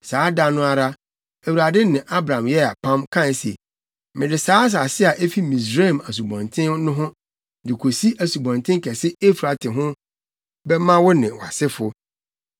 Saa da no ara, Awurade ne Abram yɛɛ apam, kae se, “Mede saa asase a efi Misraim asubɔnten no ho, de kosi asubɔnten kɛse Eufrate ho bɛma wo ne wʼasefo.